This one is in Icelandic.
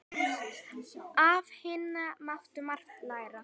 Af Hinna mátti margt læra.